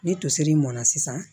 Ni tosiri mɔnna sisan